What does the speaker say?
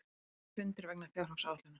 Engir fundir vegna fjárhagsáætlunar